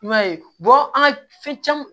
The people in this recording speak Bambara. I b'a ye an ka fɛn caman